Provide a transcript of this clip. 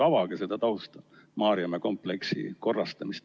Avage natuke seda tausta, seda praegust Maarjamäe kompleksi korrastamist.